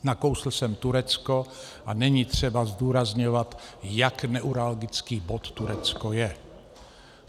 Nakousl jsem Turecko a není třeba zdůrazňovat, jak neuralgický bod Turecko je.